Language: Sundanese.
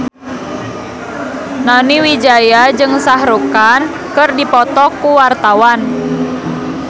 Nani Wijaya jeung Shah Rukh Khan keur dipoto ku wartawan